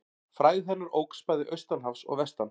Frægð hennar óx bæði austan hafs og vestan.